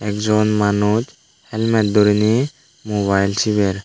ek jon manus helmate durine mubael siber.